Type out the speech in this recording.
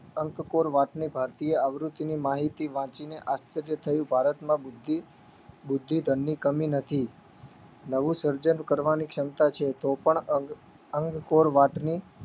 અંક કોર વાતની ભારતીય આવૃત્તિની માહિતી વાંચીને આશ્ચર્ય થયું ભારતમાં બુદ્ધિ બુદ્ધિધનની કમી નથી નવું સર્જન કરવાની ક્ષમતા છે તોપણ અંક અંક કોર વાતની